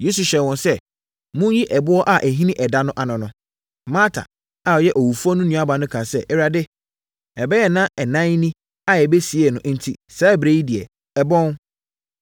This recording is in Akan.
Yesu hyɛɛ wɔn sɛ, “Monyi ɛboɔ a ɛhini ɛda no ano no.” Marta a ɔyɛ owufoɔ no nuabaa no kaa sɛ, “Awurade, ɛbɛyɛ nna ɛnan ni a yɛbɛsiee no enti saa ɛberɛ yi deɛ, ɛbɔn.”